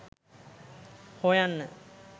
හොයන්න